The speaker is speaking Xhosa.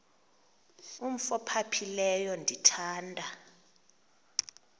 umf ophaphileyo ndithanda